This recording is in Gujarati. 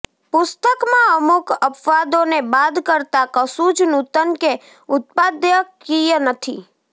પુષ્તકમાં અમુક અપવાદો ને બાદ કરતા કશું જ નૂતન કે ઉત્પાદકિય નથી